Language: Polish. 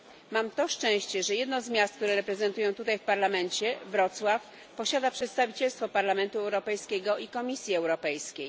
Mam to szczęście, że jedno z miast, które reprezentuję tutaj w Parlamencie Wrocław posiada przedstawicielstwo Parlamentu Europejskiego i Komisji Europejskiej.